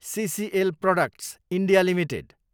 सिसिएल Products, India, limited